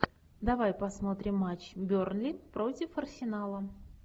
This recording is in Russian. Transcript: давай посмотрим матч бернли против арсенала